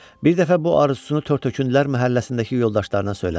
Bir dəfə bu arzusunu tər-tökündülər məhəlləsindəki yoldaşlarına söylədi.